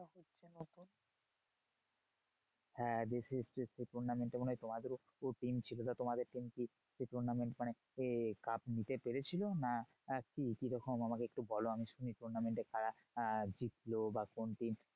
হ্যাঁ B C S C র সেই tournament এ মনে হয় তোমাদেরও দুটো team ছিল। তা তোমাদের team কি সেই tournament মানে এ cup নিতে পেরেছিল? না কি কিরখম আমাকে একটু বলো আমি শুনি tournament এ কারা আহ জিতলো? বা কোন team